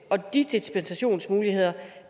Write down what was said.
og de dispensationsmuligheder